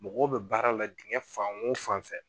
Mɔgɔw bɛ baaraw la dingɛ fan o fan fɛ